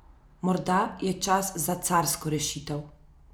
Morda je čas za carsko rešitev!